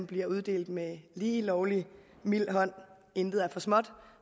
blive uddelt med lige lovlig mild hånd intet er for småt